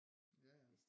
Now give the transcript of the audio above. Ja ja